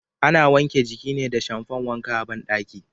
Ana wanke jiki ne da shamfan wanka a bandaki.